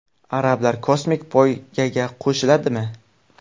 Arablar kosmik poygaga qo‘shiladimi?